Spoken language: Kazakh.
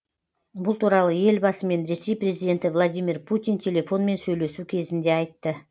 бұл туралы елбасымен ресей президенті владимир путин телефонмен сөйлесу кезінде айтты